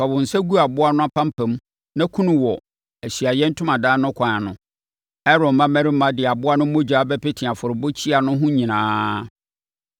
fa wo nsa gu aboa no apampam naku no wɔ Ahyiaeɛ Ntomadan no kwan ano. Aaron mmammarima de aboa no mogya bɛpete afɔrebukyia no ho nyinaa.